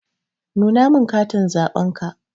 Nuna min katin zaɓenka.